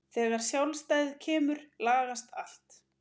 Þegar sjálfstæðið kemur lagast allt.